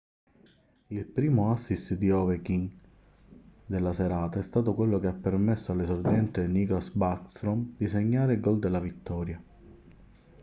il primo assist di ovechkin della serata è stato quello che ha permesso all'esordiente nicklas backstrom di segnare il gol della vittoria